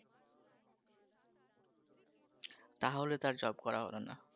তাহলে তো আর job করা হবে না